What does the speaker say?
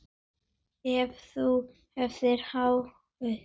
Ef þú hefur áhuga.